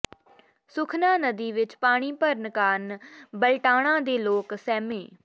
ਸੁਖਨਾ ਨਦੀ ਵਿੱਚ ਪਾਣੀ ਭਰਨ ਕਾਰਨ ਬਲਟਾਣਾ ਦੇ ਲੋਕ ਸਹਿਮੇ